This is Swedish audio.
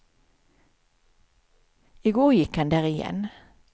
I går gick han där igen.